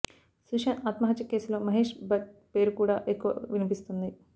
సుశాంత్ ఆత్మహత్య కేసులో మహేష్ భట్ పేరు కూడా ఎక్కువగా వినిపిస్తుంది